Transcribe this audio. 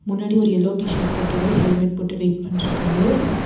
முன்னாடி ஒரு yellow T shirt போட்டவரு ஹெல்மெட் போட்டு வெய்ட் பண்ணிட்டுருக்காரு.